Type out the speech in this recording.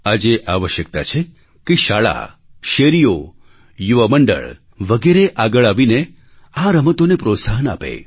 આજે આવશ્યકતા છે કે શાળા શેરીઓ યુવા મંડળ વગેરે આગળ આવીને આ રમતોને પ્રોત્સાહન આપે